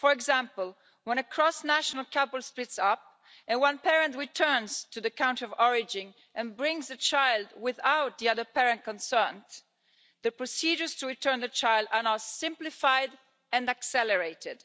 For example, when a cross-national couple splits up and one parent returns to the country of origin and brings a child without the other parent concerned, the procedures to return the child are now simplified and accelerated.